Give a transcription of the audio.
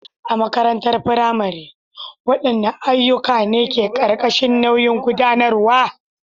A makarantar firamare, waɗanne ayyuka ne ke ƙarƙashin nauyin gudanarwa?